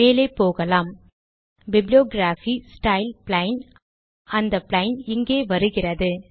மேலே போகலாம் bibliography style - plain அந்த பிளெயின் இங்கே வருகிறது